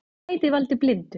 Það gæti valdið blindu.